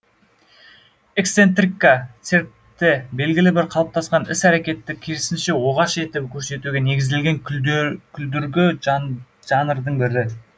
эксцентрика циркті белгілі бір қалыптасқан іс әрекетті керісінше оғаш етіп көрсетуге негізделген күлдіргі жанрдың бір түрі